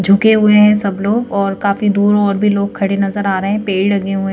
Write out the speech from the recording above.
झुके हुए हैं सब लोग और काफी दूर और भी लोग खड़े नजर आ रहे हैं पेड़ लगे हुए--